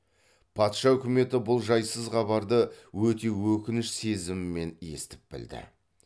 патша үкіметі бұл жайсыз хабарды өте өкініш сезімімен естіп білді